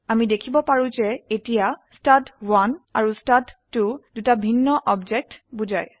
আমি দেখিব পাৰো যে এতিয়া ষ্টাড1 আৰু ষ্টাড2 দুটি ভিন্ন অবজেক্টকে বোঝায়